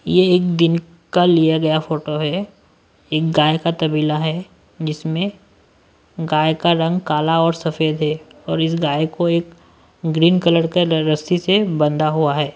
ये एक दिन का लिया गया फोटो है एक गाय का तबीला है जिसमें गाय का रंग काला और सफेद है और इस गाय को एक ग्रीन कलर के डअ रस्सी से बंदा हुआ है।